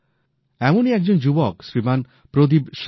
এমনই একজন যুবক শ্রীমান প্রদীপ সাঙওয়ান